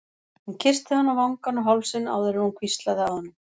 Hún kyssti hann á vangann og hálsinn áður en hún hvíslaði að honum